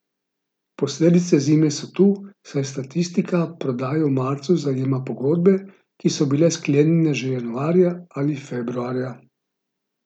Posledice zime so tu, saj statistika prodaje v marcu zajema pogodbe, ki so bile sklenjene že januarja ali februarja.